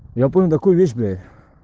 я помню такую вещь блять